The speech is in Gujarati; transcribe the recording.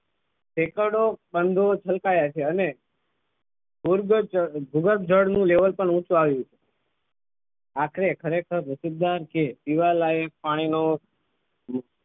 એકમો બંધો છલકાયા છે અને ભૂગર્ભજળની level પણ ઊંચું આવ્યું આખરે ખરેખર નસીબદાર છીએ કે પીવા લાયક પાણી નો